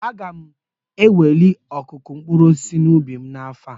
Aga m anwale ọkụkụ mkpụrụ osisi n'ubi m afọ ọzọ